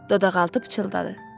Dodaqaltı pıçıldadı.